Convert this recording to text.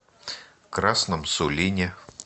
красном сулине